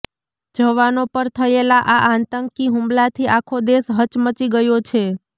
જવાનો પર થયેલા આ આતંકી હુમલાથી આખો દેશ હચમચી ગયો છે